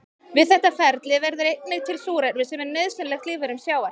Við þetta ferli verður einnig til súrefni sem er nauðsynlegt lífverum sjávar.